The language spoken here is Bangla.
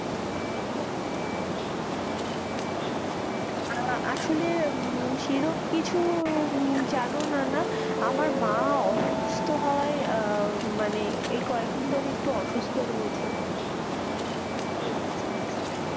আহ আসলে সেরকম কিছু জানো না না, আমার মা অসুস্থ হওয়ায় আহ মানে এই ক একদিন ধরে একটু অসুস্থ রয়েছে, ও আচ্ছা,